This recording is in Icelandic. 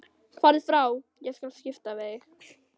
Farðu frá, ég skal skipta við þig.